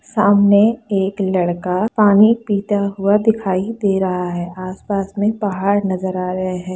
सामने एक लड़का पानी पीता हुआ दिखाई दे रहा है आस-पास में पहाड़ नजर आ रहे हैं।